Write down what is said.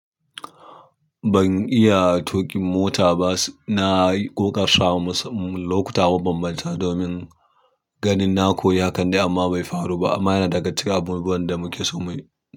Ban iya tuƙin mota ba. Na yi ƙoƙarawa musamman- lokuta ma ban manta domin ganin na koyi, hakan dai amma bai faru ba. Amma yana daga cikin abubuwan da muke so muyi.